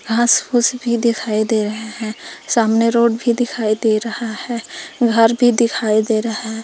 घास फूस भी दिखाई दे रहे हैं सामने रोड भी दिखाई दे रहा है घर भी दिखाई दे रहा है।